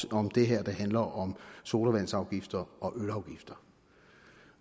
om det her der handler om sodavandsafgifter og ølafgifter